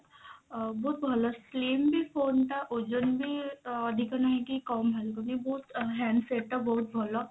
ଅ ବହୁତ ଭଲ slim ବି phone ଟା ଓଜନ ବି ଅଧିକ ନାଇଁ କି କମ ଲାଗୁନି ବହୁତ handset ଟା ବହୁତ ଭଲ